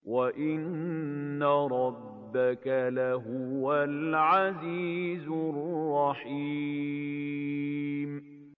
وَإِنَّ رَبَّكَ لَهُوَ الْعَزِيزُ الرَّحِيمُ